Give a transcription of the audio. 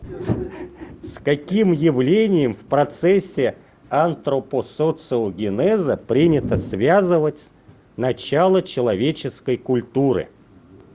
с каким явлением в процессе антропосоциогенеза принято связывать начало человеческой культуры